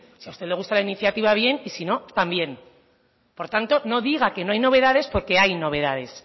si a usted le gusta la iniciativa bien y si no también por tanto no diga que no hay novedades porque hay novedades